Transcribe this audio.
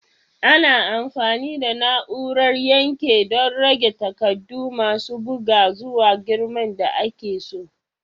Ana amfani da na'urar yanke don rage takardu masu buga zuwa girman da ake so.